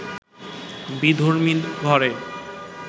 বিধর্মীর ঘরে